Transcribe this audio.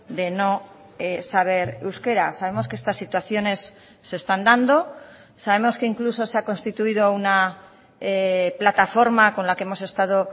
de no saber euskera sabemos que estas situaciones se están dando sabemos que incluso se ha constituido una plataforma con la que hemos estado